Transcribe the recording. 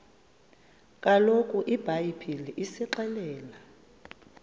kaloku ibhayibhile isixelela